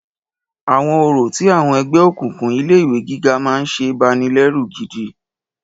Àwọn orò tí àwọn ẹgbẹ́ òkùnkùn ilé ìwé gíga mí ń ṣe banilẹ́rù gidi.